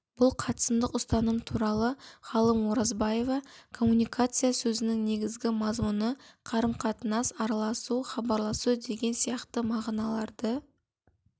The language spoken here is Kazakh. бұл қатысымдық ұстаным туралы ғалым оразбаева коммуникация сөзінің негізгі мазмұны қарым-қатынас араласу хабарласу деген сияқты мағыналарды